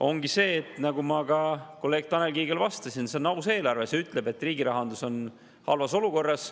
Ongi see, nagu ma ka kolleeg Tanel Kiigele vastasin: see on aus eelarve, see ütleb, et riigi rahandus on halvas olukorras.